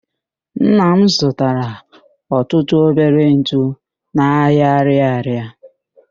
Nna m zụtara ọtụtụ obere ntụ n'ahịa Arịarịa.